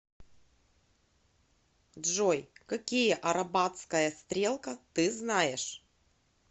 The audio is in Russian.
джой какие арабатская стрелка ты знаешь